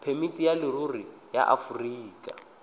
phemiti ya leruri ya aforika